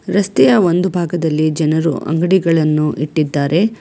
ರಸ್ತೆಯ ಒಂದು ಭಾಗದಲ್ಲಿ ಜನರು ಅಂಗಡಿಗಳನ್ನು ಇಟ್ಟಿದ್ದಾರೆ.